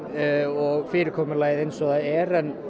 og fyrirkomulagið eins og það er en